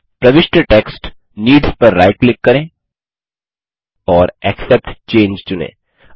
प्रविष्ट text needs पर right click करें और एक्सेप्ट चंगे चुनें